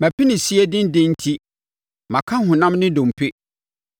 Mʼapinisie denden enti maka honam ne nnompe.